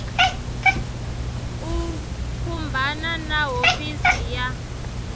u khumbana na hofisi ya